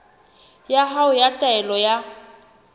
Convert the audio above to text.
ya hao ya taelo ya